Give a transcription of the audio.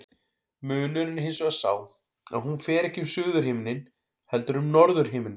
Munurinn er hins vegar sá að hún fer ekki um suðurhimininn heldur um norðurhimininn.